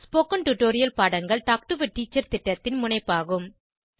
spoken tutorial பாடங்கள் talk to a teacher திட்டத்தின் முனைப்பாகும்